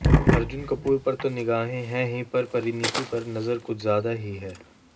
अर्जुन कपूर पर तो निगाहें हैं ही पर परिनीति पर नजर कुछ ज्यादा ही हैं